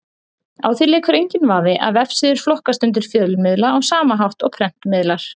Á því leikur enginn vafi að vefsíður flokkast undir fjölmiðla á sama hátt og prentmiðlar.